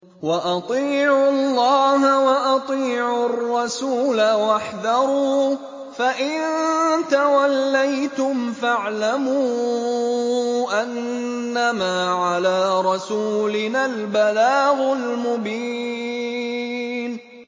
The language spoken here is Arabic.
وَأَطِيعُوا اللَّهَ وَأَطِيعُوا الرَّسُولَ وَاحْذَرُوا ۚ فَإِن تَوَلَّيْتُمْ فَاعْلَمُوا أَنَّمَا عَلَىٰ رَسُولِنَا الْبَلَاغُ الْمُبِينُ